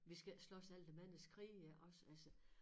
Vi skal ikke slås alle de manges krige også altså